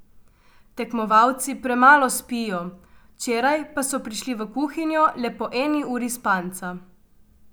Tekmovalci premalo spijo, včeraj pa so prišli v kuhinjo le po eni uri spanca.